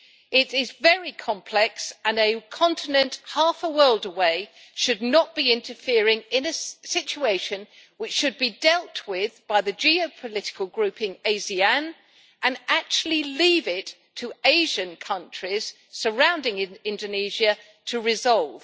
It is very complex, and a continent half a world away should not be interfering in a situation which should be dealt with by the geo political grouping ASEAN, but should leave it for Asian countries surrounding Indonesia to resolve.